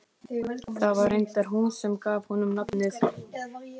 Það var reyndar hún sem gaf honum nafnið.